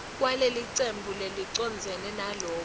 kwalelicembu lelicondzene naloku